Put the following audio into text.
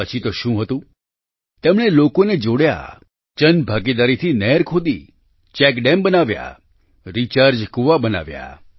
પછી તો શું હતું તેમણે લોકોને જોડ્યાં જનભાગીદારીથી નહેર ખોદી ચેકડેમ બનાવ્યા રિચાર્જ કૂવા બનાવ્યાં